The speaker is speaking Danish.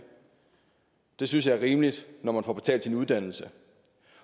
det synes jeg er rimeligt når man får betalt sin uddannelse